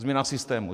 Změna systému.